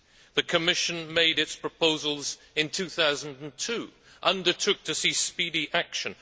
The Commission made its proposals in 2002 and undertook to see speedy action.